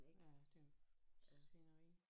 Ja det er jo svineri